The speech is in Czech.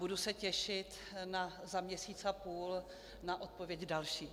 Budu se těšit za měsíc a půl na odpověď další.